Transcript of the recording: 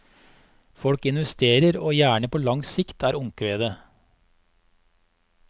Folk investerer, og gjerne på lang sikt, er omkvedet.